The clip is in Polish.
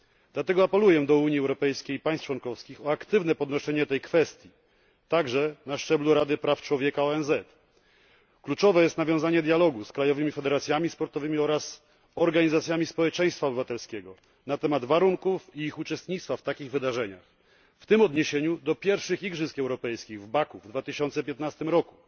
Dlatego apeluję do Unii Europejskiej i państw członkowskich o aktywne podnoszenie tej kwestii, także na szczeblu Rady Praw Człowieka ONZ. Kluczowe jest nawiązanie dialogu z krajowymi federacjami sportowymi oraz organizacjami społeczeństwa obywatelskiego na temat warunków i ich uczestnictwa w takich wydarzeniach, w tym w odniesieniu do pierwszych Igrzysk Europejskich w Baku w 2015 roku